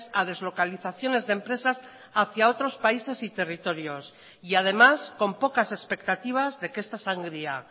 a deslocalizaciones de empresas hacia otros países y territorios y además con pocas expectativas de que esta sangría